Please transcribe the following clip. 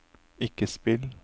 ikke spill